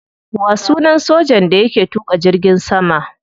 Wa sunan sojan da yake tuka jirgin sama?